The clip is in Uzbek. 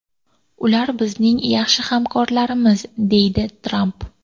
Ular bizning yaxshi hamkorlarimiz”, deydi Tramp.